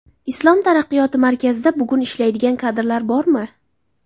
Islom taraqqiyoti markazida bugun ishlaydigan kadrlar bormi?!